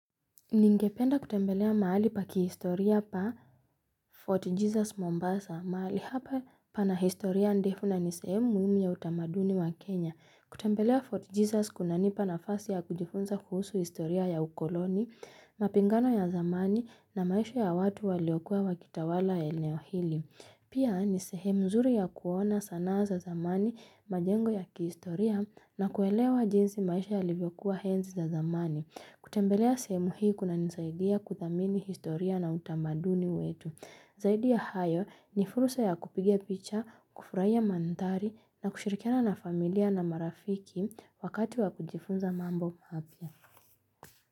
Ningependa kutembelea mahali pa kihistoria pa Fort Jesus Mombasa, mahali hapa pana historia ndefu na ni sehemu muhimuya utamaduni wa Kenya. Kutembelea Fort Jesus kuna nipa nafasi ya kujifunza kuhusu historia ya ukoloni, mapingano ya zamani na maisha ya watu waliokuwa wakitawala eneo hili. Pia ni sehemu nzuri ya kuona sanaa za zamani majengo ya kihistoria na kuelewa jinsi maisha yalivyokuwa enzi za zamani. Kutembelea sehemu hii kuna nisaidia kuthamini historia na utamaduni wetu. Zaidi ya hayo ni fursa ya kupigia picha, kufurahiya mantari na kushirikiana na familia na marafiki wakati wa kujifunza mambo maypa.